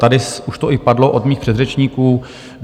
Tady už to i padlo od mých předřečníků.